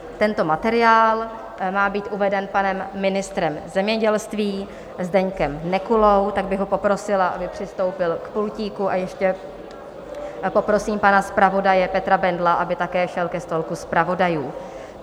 Tento materiál má být uveden panem ministrem zemědělství Zdeňkem Nekulou, tak bych ho poprosila, aby přistoupil k pultíku, a ještě poprosím pana zpravodaje Petra Bendla, aby také šel ke stolku zpravodajů.